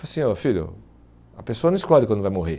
assim, oh filho, a pessoa não escolhe quando vai morrer.